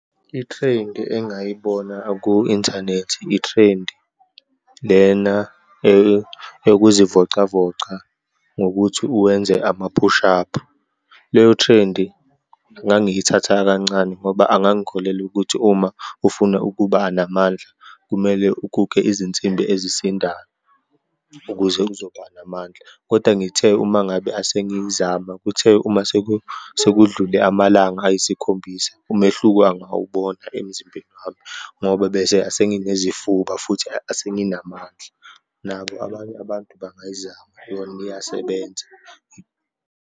I-trend engayibona aku-inthanethi i-trend lena eyokuzivocavoca ngokuthi uwenze ama-push up. Leyo trend ngangiyithatha kancane ngoba angangikholelwa ukuthi uma ufuna ukubanamandla kumele ukuke izinsimbi ezisindayo ukuze kuzoba namandla. Kodwa ngithe uma ngabe asengiyizama, kuthe uma sekudlule amalanga ayisikhombisa, umehluko angawubona emzimbeni wami ngoba, bese senginezifuba, futhi asenginamandla. Nabo abanye abantu bangayizama yona iyasebenza.